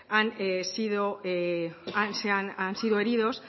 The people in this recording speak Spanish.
han sido heridos